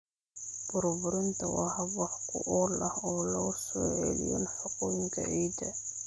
Burburinta waa hab wax ku ool ah oo lagu soo celiyo nafaqooyinka ciidda.